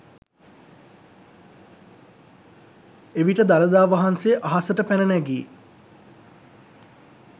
එවිට දළදා වහන්සේ අහසට පැන නැගී